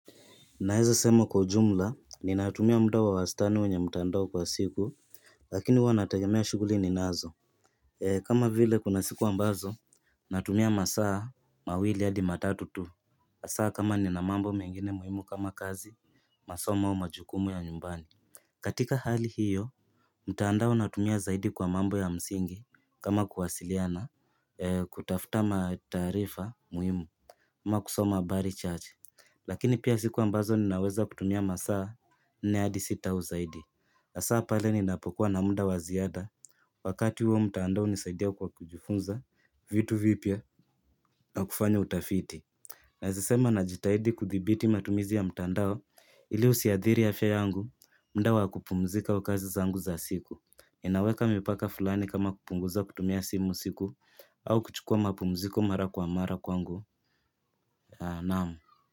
Naweza kusema kwa jumla, ninatumia muda wa wastani kwenye mtandao kwa siku lakini huwa inategemea shughuli ninazo. Kama vile kuna siku ambazo, natumia masaa mawili hadi matatu tu. Masaa kama nina mambo mengine muhimu kama kazi, masomo au majukumu ya nyumbani. Katika hali hiyo, mtandao natumia zaidi kwa mambo ya msingi kama kuwasiliana, kutafuta taarifa muhimu. Ama kusoma habari chache. Lakini pia siku ambazo ninaweza kutumia masaa nne hadi sita au zaidi, hasa pale ninapokuwa na muda wa ziada. Wakati huo, mtandao unisaidia kujifunza vitu vipya. Na kufanya utafiti. Naweza kusema najitahidi kudhibiti matumizi ya mtandao ili yasiathiri afya yangu, muda wa kupumzika na kazi zangu za siku. Ninaweka mipaka fulani kama kupunguza kutumia simu usiku au kuchukua mapumziko mara kwa mara kwangu na.